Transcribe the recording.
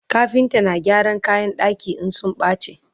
kafinta na gyaran kayan ɗaki in sun bace